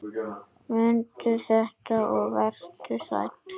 Mundu þetta og vertu sæll!